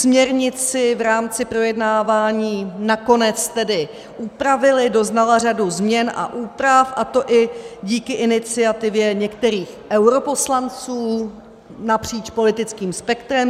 Směrnici v rámci projednávání nakonec tedy upravili, doznala řadu změn a úprav, a to i díky iniciativě některých europoslanců napříč politickým spektrem.